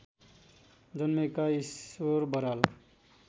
जन्मेका ईश्वर बराल